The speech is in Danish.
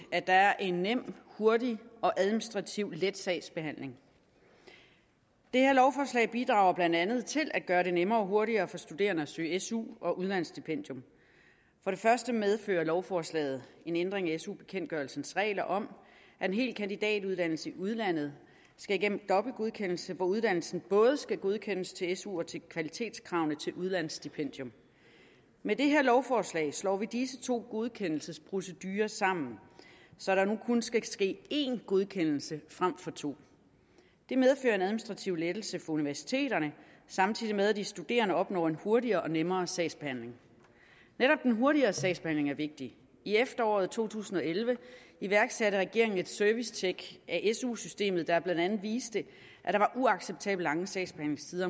at der er en nem hurtig og administrativt let sagsbehandling det her lovforslag bidrager blandt andet til at gøre det nemmere og hurtigere for studerende at søge su og udlandstipendium for det første medfører lovforslaget en ændring af su bekendtgørelsens regler om at en hel kandidatuddannelse i udlandet skal igennem dobbelt godkendelse da uddannelsen både skal godkendes til su og til kvalitetskravene til udlandsstipendium med det her lovforslag slår vi disse to godkendelsesprocedurer sammen så der nu kun skal ske én godkendelse frem for to det medfører en administrativ lettelse for universiteterne samtidig med at de studerende opnår en hurtigere og nemmere sagsbehandling netop den hurtigere sagsbehandling er vigtig i efteråret to tusind og elleve iværksatte regeringen et servicetjek af su systemet der blandt andet viste at der var uacceptabelt lange sagsbehandlingstider